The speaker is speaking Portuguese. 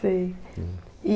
Sei. É.